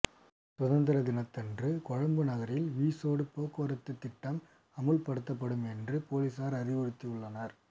சுதந்திர தினத்தன்று கொழும்பு நகரில் விசேட போக்குவரத்துத் திட்டம் அமுல்படுத்தப்படும் என்று பொலிசார் அறிவுறுத்தியுள்ளனர்